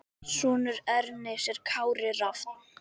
Sonur Ernis er Kári Rafn.